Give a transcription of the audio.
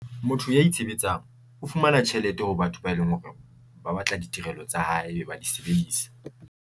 Motho ya itshebetsang o fumana tjhelete hore batho ba e leng hore ba batla ditirelo tsa hae e be ba di sebedisa.